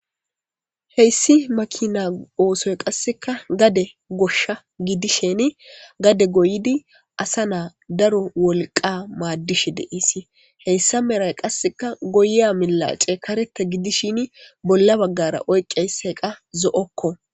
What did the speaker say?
Heyssi maakina oosoy qasseka gadde gooshsha gidishin gadde goyidi asa naa daro wolqqa maaddishshe de'esii heyssa meray qasseka goyiya millace karetta giddishin bolla baggara oyqiyayisikka zo'okko.